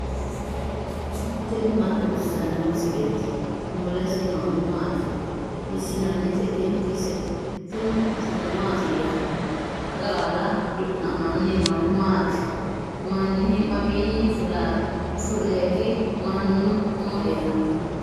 tini maa xawissanno misileeti ? mulese noori maati ? hiissinannite ise ? tini kultannori mattiya? Raga baalla duu'namanni noohu maatti? Maninni fuleetti? Mannu mama heerenna?